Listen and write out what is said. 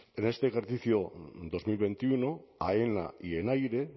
pero este ejercicio dos mil veintiuno aena y enaire